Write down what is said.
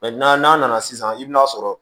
n'a nana sisan i bɛn'a sɔrɔ